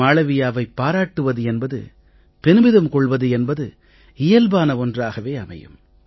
மாளவியாவைப் பாராட்டுவது என்பது பெருமிதம் கொள்வது என்பது இயல்பான ஒன்றாகவே அமையும்